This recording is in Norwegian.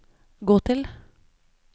gå til